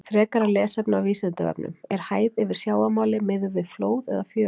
Frekara lesefni á Vísindavefnum: Er hæð yfir sjávarmáli miðuð við flóð eða fjöru?